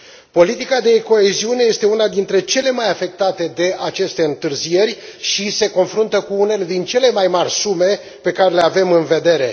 Politica de coeziune este una dintre cele mai afectate de aceste întârzieri și se confruntă cu unele dintre cele mai mari sume pe care le avem în vedere.